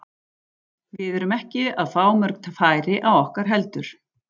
Við erum ekki að fá mörg færi á okkur heldur.